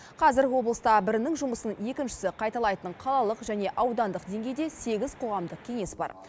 қазір облыста бірінің жұмысын екіншісі қайталайтын қалалық және аудандық деңгейде сегіз қоғамдық кеңес бар